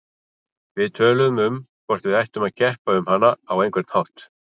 Við töluðum um hvort við ættum að keppa um hana á einhvern hátt.